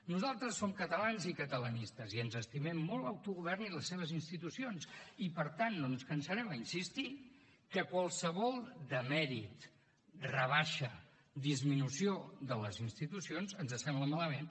nosaltres som catalans i catalanistes i ens estimem molt l’autogovern i les seves institucions i per tant no ens cansarem a insistir que qualsevol demèrit rebaixa disminució de les institucions ens sembla malament